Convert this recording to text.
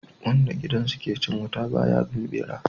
Wanda gidansa ke cin wuta ba ya bin bera